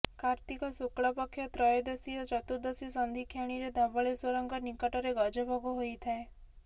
କାର୍ତ୍ତିକ ଶୁକ୍ଲପକ୍ଷ ତ୍ରୟୋଦଶୀ ଓ ଚତୁର୍ଦ୍ଦଶୀ ସନ୍ଧି କ୍ଷଣିରେ ଧବଳେଶ୍ୱରଙ୍କ ନିକଟରେ ଗଜଭୋଗ ହୋଇଥାଏ